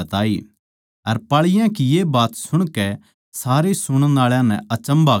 अर पाळीयाँ की ये बात सुणकै सारे सुणण आळा नै अचम्भा करया